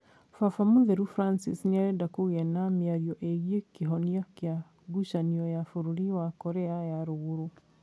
Baba Mũtheru Francis nĩarenda kũgĩa na mĩario gĩgie kĩhonia kĩa ngucanio ya bũrũri wa Korea ya Rũrũgũrũ